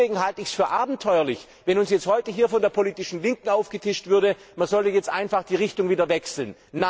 Deshalb halte ich es für abenteuerlich, dass uns heute hier von der politischen Linken aufgetischt wird, man solle jetzt einfach die Richtung wieder wechseln.